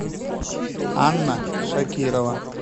анна шакирова